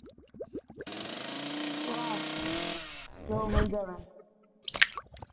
ਸਵਾਹ ਜੋ ਮਿਲ ਜਾਵੇ